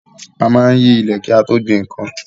A maá ń yí ilẹ̀ kí a tó gbin nkan